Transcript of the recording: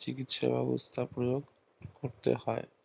চিৎকিসা ব্যাবস্তা প্রয়োগ করতে হয়